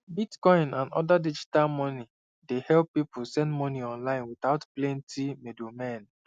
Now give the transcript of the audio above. bitcoin and other digital money dey help people send money online without plenty middlemen